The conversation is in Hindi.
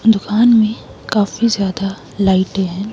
दुकान में काफी ज्यादा लाइटें हैं।